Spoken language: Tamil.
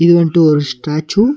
இது வன்டு ஒரு ஸ்டேச்சு .